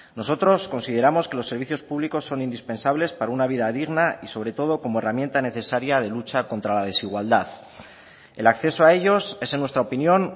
nosotros consideramos que los servicios públicos son indispensables para una vida digna y sobre todo como herramienta necesaria de lucha contra la desigualdad el acceso a ellos es en nuestra opinión